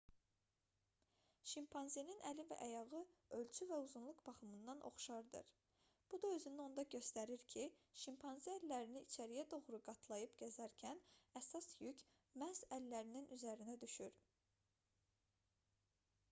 şimpanzenin əli və ayağı ölçü və uzunluq baxımından oxşardır bu da özünü onda göstərir ki şimpanze əllərini içəriyə doğru qatlayıb gəzərkən əsas yük məhz əllərin üzərinə düşür